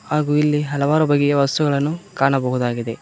ಹಾಗು ಇಲ್ಲಿ ಹಲವಾರು ಬಗೆಯ ವಸ್ತುಗಳನ್ನು ಕಾಣಬಹುದಾಗಿದೆ.